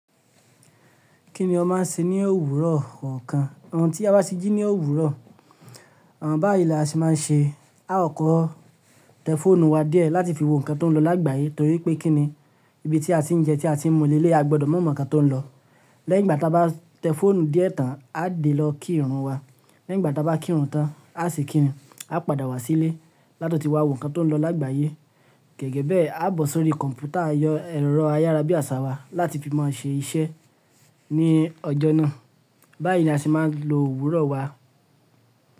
Kí ni o máa ń ṣe ní òwúrọ̀ ọ̀kan? Òun tí a bá sí jí ní òwúrọ̀, àwọn báyìí la ṣe máa ń ṣe. A ò kọ́ tẹlifóònù wa díẹ̀ láti fi wo nǹkan tó ń lọ lágbàáyé torí pé kí ni ibi tí a ti ń jẹ́ tí a ti ń mu lé lé a gbọdọ̀ mọ̀ nǹkan tó ń lọ. Lẹ́yin igbàá tí a bá tẹlifóònù díẹ̀ tán, a lè lọ kí ìrun wa. Lẹ́yin igbàá tí a bá kí ìrun tán, a se kíni, a padà wá sílé láti wá wo nǹkan tó ń lọ lágbàáyé. Gẹ́gẹ́ bẹ́ẹ̀, a bọ̀ sórí kọ̀ǹpútà ẹ̀rọ ayárabíàṣawá láti fi máa ṣe iṣẹ́ ní ọjọ́ náà. Báyìí ni a ṣe máa ń lo òwúrọ̀ wa.